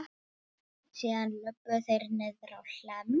Síðan löbbuðu þeir niðrá Hlemm.